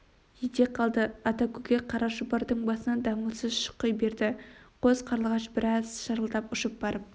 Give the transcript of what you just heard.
ете қалды ата көкек қара шұбардың басынан дамылсыз шұқи берді қос қарлығаш біраз шырылдап ұшып барып